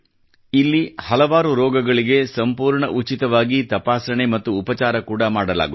ಇಲ್ಲಿ ಹಲವಾರು ರೋಗಗಳಿಗೆ ಸಂಪೂರ್ಣ ಉಚಿತವಾಗಿ ತಪಾಸಣೆ ಮತ್ತು ಉಪಚಾರ ಕೂಡಾ ಮಾಡಲಾಗುತ್ತದೆ